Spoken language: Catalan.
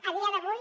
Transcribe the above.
a dia d’avui